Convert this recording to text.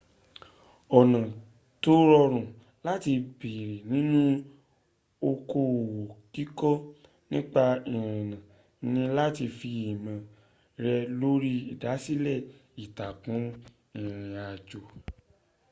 ọ̀nà tó rọrùn láti bẹ̀rẹ̀ nínú okoòwò kíkọ nípa ìrìnnà ni láti fi ìmọ̀ rẹ̀ lórí ìdásílẹ̀ ìtàkùn ìrìnàjò